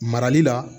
Marali la